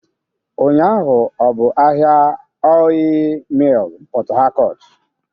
Ụnyaahụ ọ bụ ahịa Ọịyị Mịl Port Harcourt?